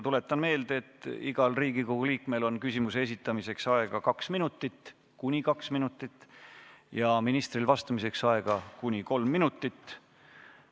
Tuletan meelde, et igal Riigikogu liikmel on küsimuse esitamiseks aega kuni kaks minutit ja ministril vastamiseks kuni kolm minutit.